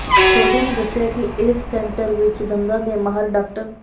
ਸੋਢੀ ਨੇ ਦੱਸਿਆ ਕਿ ਇਸ ਸੈਂਟਰ ਵਿਚ ਦੰਦਾਂ ਦੇ ਮਾਹਿਰ ਡਾ